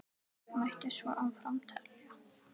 Mætti svo áfram telja.